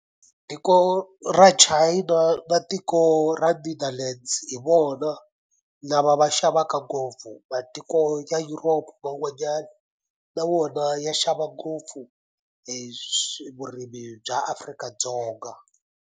Tiko ra China na tiko ra Netherlands hi vona lava va xavaka ngopfu matiko ya Europe man'wanyani na wona ya xava ngopfu hi vurimi bya Afrika-Dzonga.